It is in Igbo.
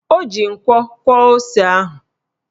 O ji nkwo kwọọ ose ahụ